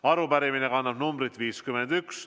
Arupärimine kannab numbrit 51.